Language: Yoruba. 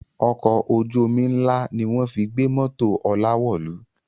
Ọkọ̀ ojú omi ń lá ni wọ́n fi gbé mọ́tò Ọlá wọ̀lú